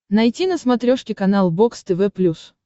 найти на смотрешке канал бокс тв плюс